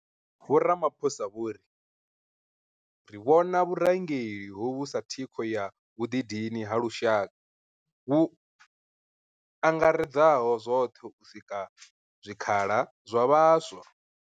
Vho Ramaphosa vho ri, Ri vhona vhurangeli hovhu sa thikho ya vhuḓidini ha lushaka vhu angaredzaho zwoṱhe u sika zwikhala zwa vhaswa.